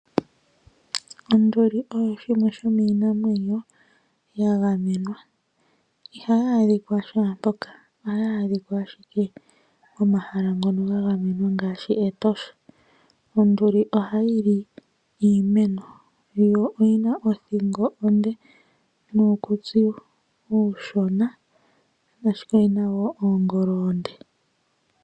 Onduli osho shimwe shomiinamwenyo sha gamenwa, ihaya a dhika shaampoka ohayi adhika owala pomahala ngoka ga gamenwa ngaashi Etosha. Onduli ohayi li iimeno, yo oyina othingo onde nuukutsi uushona ashike oyina woo oongolo oonde.